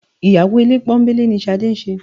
Ìyàwó ilé pọ́nńbélé ni Ṣadé ń ṣe